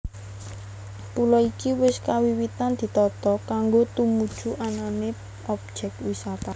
Pulo iki wis kawiwitan ditata kanggo tumuju anané objek wisata